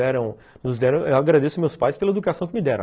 Eu agradeço meus pais pela educação que me deram.